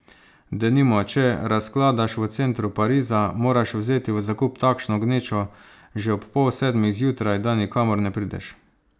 Denimo, če razkladaš v centru Pariza, moraš vzeti v zakup takšno gnečo že ob pol sedmih zjutraj, da nikamor ne prideš.